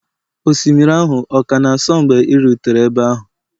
osimiri ahụ ọ ka na-asọ mgbe ị rutere ebe ahụ?